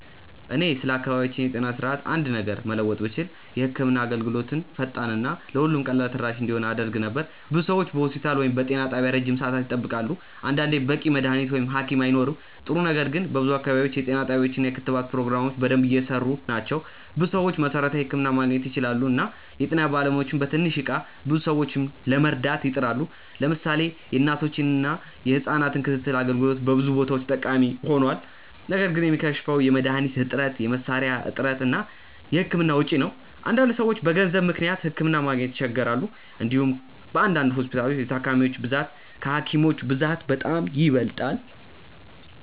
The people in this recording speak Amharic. እኔ ስለ አካባቢያችን የጤና ስርዓት አንድ ነገር መለወጥ ብችል የህክምና አገልግሎትን ፈጣን እና ለሁሉም ቀላል ተደራሽ እንዲሆን አደርግ ነበር። ብዙ ሰዎች በሆስፒታል ወይም በጤና ጣቢያ ረጅም ሰዓት ይጠብቃሉ፣ አንዳንዴም በቂ መድሀኒት ወይም ሀኪም አይኖርም። ጥሩ ነገር ግን በብዙ አካባቢዎች የጤና ጣቢያዎች እና የክትባት ፕሮግራሞች በደንብ እየሰሩ ናቸው። ብዙ ሰዎች መሠረታዊ ሕክምና ማግኘት ይችላሉ እና የጤና ባለሙያዎችም በትንሽ እቃ ብዙ ሰዎችን ለመርዳት ይጥራሉ። ለምሳሌ የእናቶችና የህጻናት ክትትል አገልግሎት በብዙ ቦታዎች ጠቃሚ ሆኗል። ነገር ግን የሚከሽፈው የመድሀኒት እጥረት፣ የመሳሪያ እጥረት እና የህክምና ወጪ ነው። አንዳንድ ሰዎች በገንዘብ ምክንያት ሕክምና ማግኘት ይቸገራሉ። እንዲሁም በአንዳንድ ሆስፒታሎች የታካሚዎች ብዛት ከሀኪሞች ብዛት በጣም ይበልጣል።